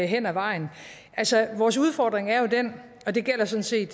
hen ad vejen altså vores udfordring er den og det gælder sådan set